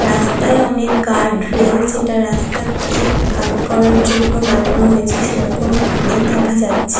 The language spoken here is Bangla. রাস্তায় অনেক গার্ড রেল যেটা রাস্তাকে গার্ড করার জন্য বানানো হয়েছে সেরকম অনেক দেখা যাচ্ছে।